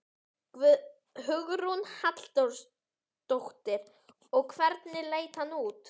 Faðir minn vildi ekki utan þegar á reyndi.